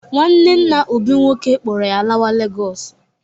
Nwanne nna Obi nwoke kpọrọ ya lawa Legọsụ.